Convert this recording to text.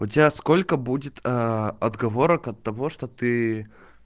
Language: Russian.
у тебя сколько будет отговорок от того что ты